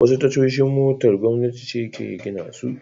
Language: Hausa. Wasu tashoshin motar gwamnati ce ke gina su.